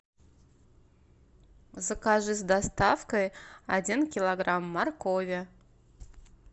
закажи с доставкой один килограмм моркови